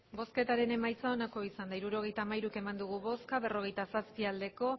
hirurogeita hamairu eman dugu bozka berrogeita zazpi bai